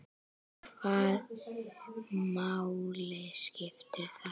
En hvaða máli skiptir það?